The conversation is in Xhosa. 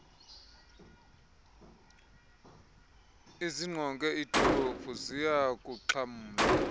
ezingqonge iidolophu ziyakuxhamla